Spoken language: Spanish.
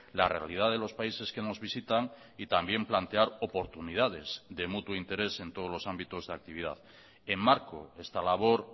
la realidad de los países que nos visitan y también plantear oportunidades de mutuo interés en todos los ámbitos de actividad enmarco esta labor